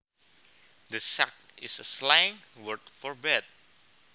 The sack is a slang word for bed